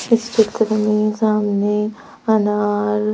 इस चित्र में सामने अनार--